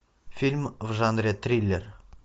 фильм в жанре триллер